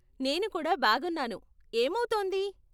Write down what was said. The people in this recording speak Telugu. నేను కూడా బాగున్నాను. ఏమౌతోంది?